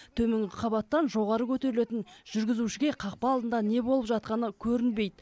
төменгі қабаттан жоғары көтерілетін жүргізушіге қақпа алдында не болып жатқаны көрінбейді